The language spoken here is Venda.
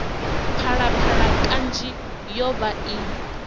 phalaphala kanzhi yo vha i